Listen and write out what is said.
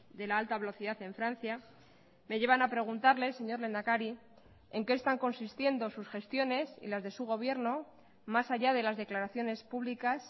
de la alta velocidad en francia me llevan a preguntarles señor lehendakari en qué están consistiendo sus gestiones y las de su gobierno más allá de las declaraciones públicas